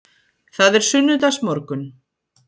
Það er sunnudagsmorgunn.